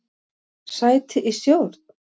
Sæti í stjórn?